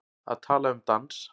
Að tala um dans